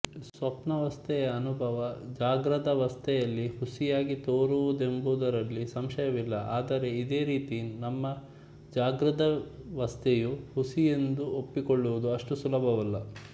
ಸ್ವಪ್ನಾವಸ್ಥೆಯ ಅನುಭವ ಜಾಗೃದವಸ್ಥೆಯಲ್ಲಿ ಹುಸಿಯಾಗಿ ತೋರುವುದೆಂಬುದರಲ್ಲಿ ಸಂಶಯವಿಲ್ಲ ಆದರೆ ಇದೇ ರೀತಿ ನಮ್ಮ ಜಾಗೃದವಸ್ಥೆಯೂ ಹುಸಿಯೆಂದು ಒಪ್ಪಿಕೊಳ್ಳುವುದು ಅಷ್ಟು ಸುಲಭವಲ್ಲ